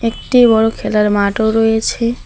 একটি বড়ো খেলার মাঠও রয়েছে।